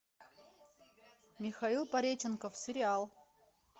михаил пореченков сериал